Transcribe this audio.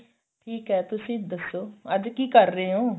ਠੀਕ ਏ ਤੁਸੀਂ ਦੱਸੋ ਅੱਜ ਕੀ ਕ਼ਰ ਰਹੇ ਓ